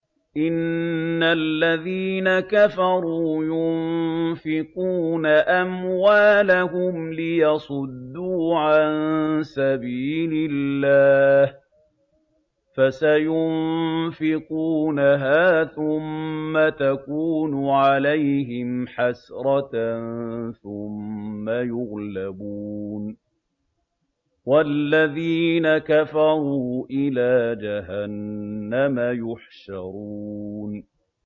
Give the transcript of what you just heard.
إِنَّ الَّذِينَ كَفَرُوا يُنفِقُونَ أَمْوَالَهُمْ لِيَصُدُّوا عَن سَبِيلِ اللَّهِ ۚ فَسَيُنفِقُونَهَا ثُمَّ تَكُونُ عَلَيْهِمْ حَسْرَةً ثُمَّ يُغْلَبُونَ ۗ وَالَّذِينَ كَفَرُوا إِلَىٰ جَهَنَّمَ يُحْشَرُونَ